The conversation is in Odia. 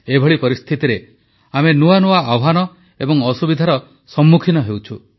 ଏଭଳି ପରିସ୍ଥିତିରେ ଆମେ ନୂଆ ନୂଆ ଆହ୍ୱାନ ଏବଂ ଅସୁବିଧାର ସମ୍ମୁଖୀନ ହେଉଛୁ